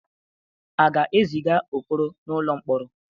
A ga-eziga Okoro n'ụlọ mkpọrọ?